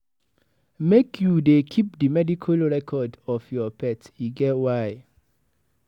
Make you dey keep di medical report of your pet, e get why.